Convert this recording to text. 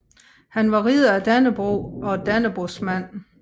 Han var Ridder af Dannebrog og Dannebrogsmand